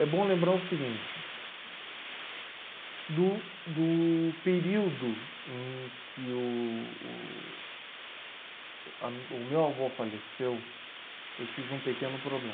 É bom lembrar o seguinte, do do período em que o o o a o meu avô faleceu, eu tive um pequeno problema.